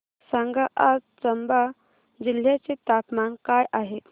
सांगा आज चंबा जिल्ह्याचे तापमान काय आहे